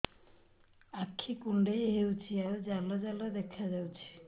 ଆଖି କୁଣ୍ଡେଇ ହେଉଛି ଏବଂ ଜାଲ ଜାଲ ଦେଖାଯାଉଛି